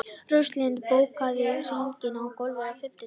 Róslinda, bókaðu hring í golf á fimmtudaginn.